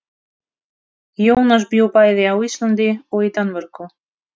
Jónas bjó bæði á Íslandi og í Danmörku.